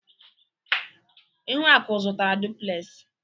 Ihuaku zụtara duplez.